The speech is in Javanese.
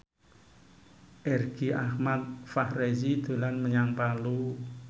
Irgi Ahmad Fahrezi dolan menyang Palu